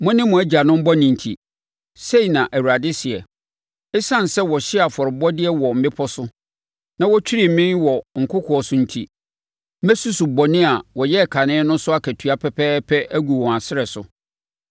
mo ne mo agyanom bɔne nti,” sei na Awurade seɛ. “Esiane sɛ wɔhyee afɔrebɔdeɛ wɔ mmepɔ so na wɔtwirii me wɔ nkokoɔ so enti mɛsusu bɔne a wɔyɛɛ kane no so akatua pɛpɛɛpɛ agu wɔn asrɛ so.”